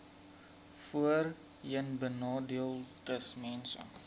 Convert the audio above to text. voorheenbenadeeldesmense